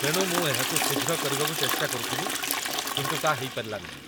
ତେଣୁ ମୁଁ ଏହାକୁ ଶୀଘ୍ର କରିବାକୁ ଚେଷ୍ଟା କରୁଥିଲି, କିନ୍ତୁ ତା' ହେଇପାରିଲା ନାହିଁ